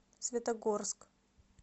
светогорск